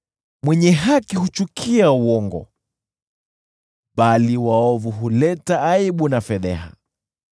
Mwenye haki huchukia uongo, bali waovu huleta aibu na fedheha.